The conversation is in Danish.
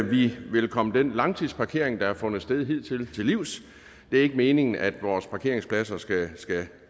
vi vil komme den langtidsparkering som har fundet sted hidtil til livs det er ikke meningen at vores parkeringspladser skal